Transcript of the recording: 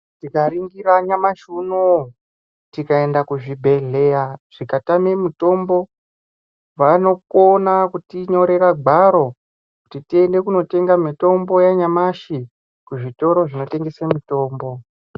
Tikaringira nyamashi unouyu tikaende kuzvibhedhleya zvikatame mitombo. Vanokona kuti nyorera gwaro kuti tiende kunotenga mitombo yanyamashi kuzvitoro zvinotengesa mitombo.